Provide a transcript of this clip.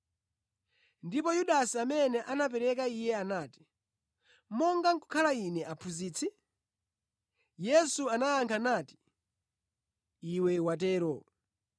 Ndipo Yudasi amene anamupereka Iye anati, “Monga nʼkukhala ine Aphunzitsi?” Yesu anayankha nati, “Iwe watero.”